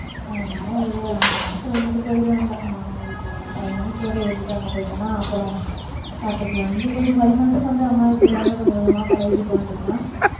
அதனால ஒரு அஞ்சு மாசம் இருந்துட்டு போயிருவேன் அங்க அம்மா வீட்டுல five months வரை இருந்துட்டு அங்க போயிட்டன்னா அப்புறம் பாத்துக்கலாம் இங்க கொஞ்சம் five month க்கு வந்து அம்மா வீட்டுல எல்லாமே கொஞ்சம் கொஞ்சமா பழகிட்டோம்னு சொன்னா